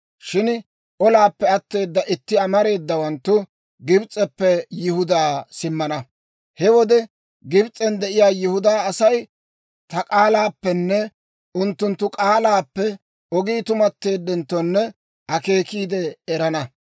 Shin olaappe atteeda itti amareedawanttu Gibs'eppe Yihudaa simmana. He wode Gibs'en de'iyaa Yihudaa Asay ta k'aalaappenne unttunttu k'aalaappe oogi tumatteeddenttonne akeekiide erana.